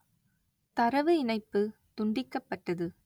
தரவு இணைப்பு துண்டிக்கப்பட்டது